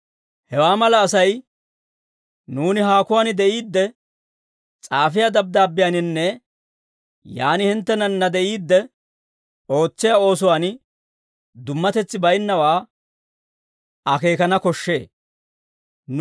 Hewaa mala Asay nuuni haakuwaan de'iidde s'aafiyaa dabddaabbiyaaninne yaan hinttenanna de'iidde ootsiyaa oosuwaan dummatetsi bayinnawaa akeekana koshshee.